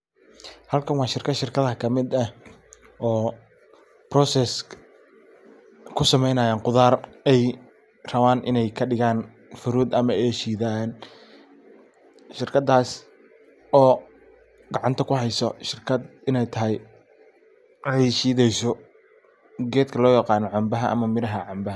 Halkan waa shirkad ,shirkadaha ka mid eh oo precessing ku samenaya khudaar ay raban ined kadigan fruit ama ay shidan. Shirkadas oo gacanta kuheyso iney tahay ay shideyso gedka loo yiqano cambaha ama miraha cambaha.